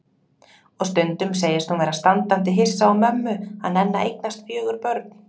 Og stundum segist hún vera standandi hissa á mömmu að nenna að eignast fjögur börn.